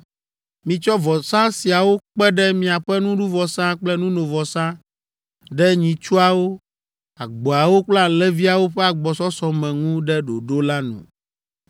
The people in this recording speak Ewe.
Mitsɔ vɔsa siawo kpe ɖe miaƒe nuɖuvɔsa kple nunovɔsa ɖe nyitsuawo, agboawo kple alẽviawo ƒe agbɔsɔsɔ me ŋu ɖe ɖoɖo la nu.